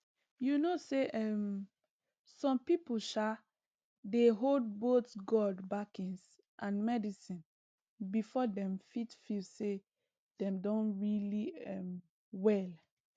you know say um some people um dey hold both god backings and medicine before dem fit feel say dem don really um well